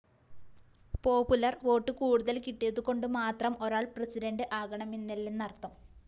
popular vote കൂടുതല്‍ കിട്ടിയതുകൊണ്ട് മാത്രം ഒരാള്‍ പ്രസിഡന്റ് ആകണമെന്നില്ലെന്നര്‍ത്ഥം